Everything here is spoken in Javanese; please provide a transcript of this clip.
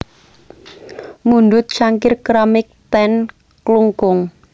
Mundhut cangkir keramik ten Klungkung